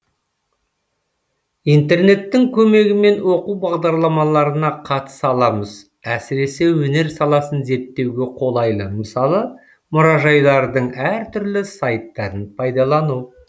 интернеттің көмегімен оқу бағдарламаларына қатыса аламыз әсіресе өнер саласын зерттеуге қолайлы мысалы мұражайлардың әр түрлі сайттарын пайдалану